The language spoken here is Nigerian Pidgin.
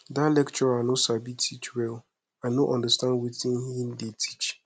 dat lecturer no sabi teach well i no understand wetin he dey teach